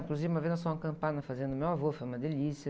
Inclusive uma vez nós fomos acampar na fazenda do meu avô, foi uma delícia.